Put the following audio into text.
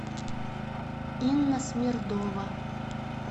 инна смердова